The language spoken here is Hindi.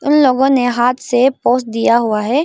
इन लोगों ने हाथ से पोज दिया हुआ है।